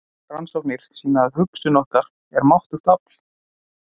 Rannsóknir sýna að hugsun okkar er máttugt afl.